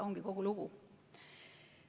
Ongi kogu lugu.